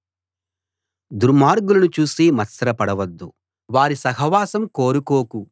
దుర్మార్గులను చూసి మత్సర పడవద్దు వారి సహవాసం కోరుకోకు